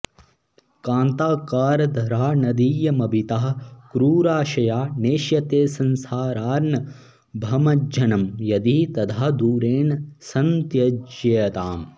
कान्ताकारधरा नदीयमभितः क्रूराशया नेष्यते संसारार्णवमज्जनं यदि तदा दूरेण सन्त्यज्यताम्